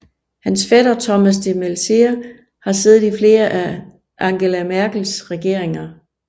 Hans fætter Thomas de Maizière har siddet i flere af Angela Merkels regeringer